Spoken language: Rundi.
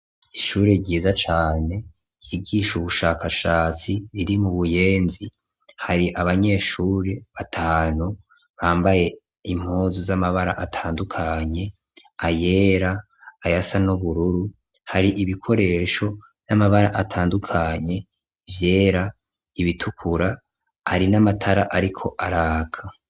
Ishure ryiza cane, ryigisha ubushakashatsi, riri mu buyenzi; hari abanyeshure batanu, bambaye impuzu z'amabara atandukanye; ayera, ayasa n'ubururu, hari ibikoresho vy'amabara atandukanye; ivyera, ibitukura, hari n'amatara ariko araka.